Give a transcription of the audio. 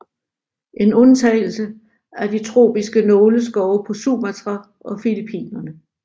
En undtagelse er de tropiske nåleskove på Sumatra og Filippinerne